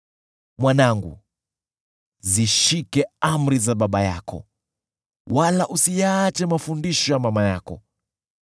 Mwanangu, zishike amri za baba yako, wala usiyaache mafundisho ya mama yako.